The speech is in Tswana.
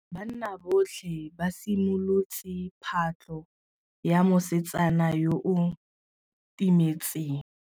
Banna botlhê ba simolotse patlô ya mosetsana yo o timetseng.